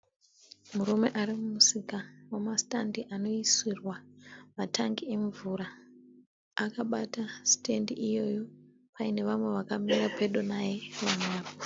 Murume ari mumusika wema (stand) anoisirwa matangi emvura. Akabata (stand) iyoyo paine vamwe vakamira pedo naye.